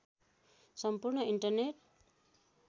सम्पूर्ण इन्टरनेट